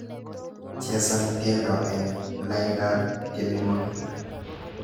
Chesan tyendo eng laindab tyenwogik